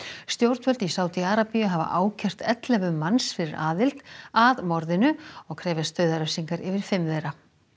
stjórnvöld í Sádi Arabíu hafa ákært ellefu manns fyrir aðild að morðinu og krefjast dauðarefsingar yfir fimm þeirra